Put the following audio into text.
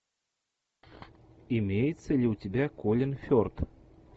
имеется ли у тебя колин ферт